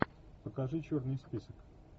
покажи черный список